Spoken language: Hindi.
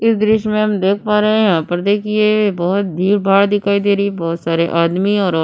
इस दृश्य में हम देख पा रहे हैं यहां पर देखिए बोहोत भीड़ भाड़ दिखाई दे रही है बहुत सारे आदमी और और-